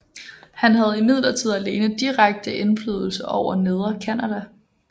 Han havde imidlertid alene direkte indflydelse over Nedre Canada